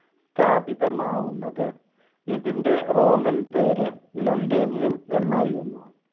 സ്ഥാപിതമാകുന്നത്. ഇതിന്‍റെ റോമൻ പേര് ലുണ്ടേനീയം എന്നായിരുന്നു.